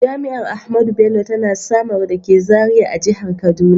Jami’ar Ahmadu Bello tana Samaru dake Zariya a Jihar Kaduna.